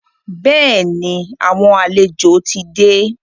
Bẹ́ẹ̀ni, àwọn àlejò ti dé.